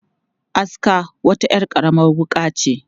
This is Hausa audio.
Aska wata 'yar karamar wuƙa ce.